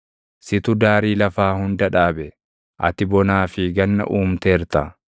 Situ daarii lafaa hunda dhaabe; ati bonaa fi ganna uumteerta.